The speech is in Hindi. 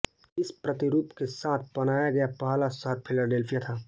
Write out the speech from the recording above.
इस प्रतिरूप के साथ बनाया गया पहला शहर फिलाडेल्फिया था